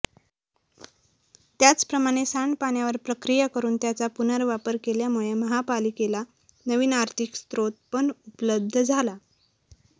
त्याचप्रमाणे सांडपाण्यावर प्रक्रिया करून त्याचा पुनर्वापर केल्यामुळे महापालिकेला नवीन आर्थिक स्रेत पण उपलब्ध झाला